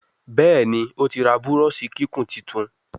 Béèni otí rà Búrọ́ọ̀ṣì kíkún títún.